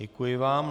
Děkuji vám.